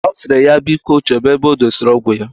Osiri ya biko choba ebe odesiri ọgwụ ya.